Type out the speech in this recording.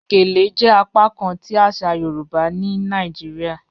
Gèlè jẹ apakán ti aṣa Yorùbá ni Nàìjíríà